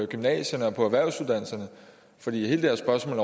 gymnasierne og på erhvervsuddannelserne for hele det her spørgsmål